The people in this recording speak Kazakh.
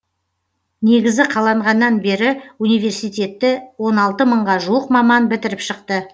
негізі қаланғаннан бері университетті он алты мыңға жуық маман бітіріп шықты